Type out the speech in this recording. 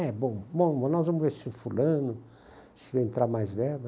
É, bom, nós vamos ver se fulano, se entrar mais verba.